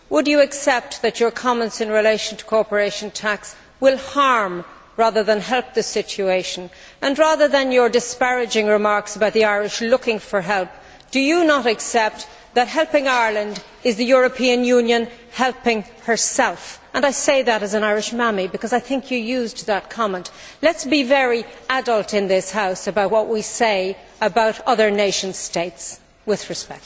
Would you accept that your comments in relation to corporation tax will harm, rather than help, this situation? Rather than your disparaging remarks about the Irish looking for help, do you not accept that by helping Ireland, is the European Union helping herself? I say that as an Irish mammy because I think you used that comment. Let us be very adult in this House about what we say about other nation states, with respect.